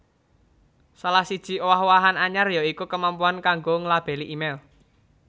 Salah siji owah owahan anyar ya iku kemampuan kanggo nglabeli email